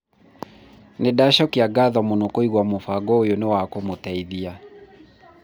nĩndacokia ngatho mũno kũigua mũbango ũyũ wa kũmũteithia